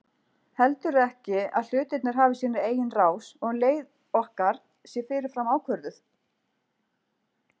Heldurðu ekki að hlutirnir hafi sína eigin rás og leið okkar sé fyrirfram ákvörðuð?